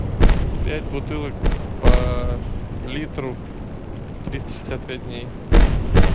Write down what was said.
пять бутылок по литру триста шестьдесят пять дней